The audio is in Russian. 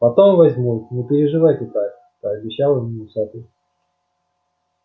потом возьмут не переживайте так пообещал ему усатый